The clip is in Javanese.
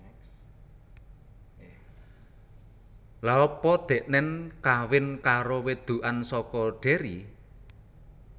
Lha apa deknen kawin karo wedokan soko Derry?